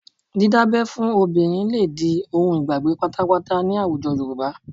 Dídábẹ́ fún obìnrin lè di ohun ìgbàgbé pátápátá ní àwùjọ Yorùbá